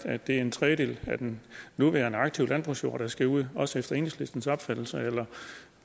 at det er en tredjedel af den nuværende aktive landbrugsjord der skal ud også efter enhedslistens opfattelse eller